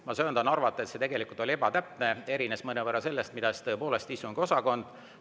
Ma söandan arvata, et see oli tegelikult ebatäpne, erines mõnevõrra sellest, mida istungiosakond.